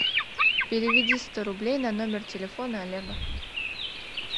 переведи сто рублей на номер телефона олега